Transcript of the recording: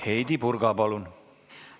Heidy Purga, palun!